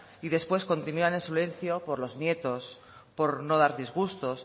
y después continúan en silencio por los nietos por no dar disgustos